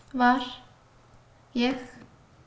var ég